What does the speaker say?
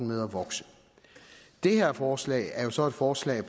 med at vokse det her forslag er så et forslag